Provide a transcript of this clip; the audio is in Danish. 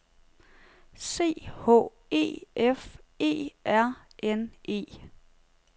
C H E F E R N E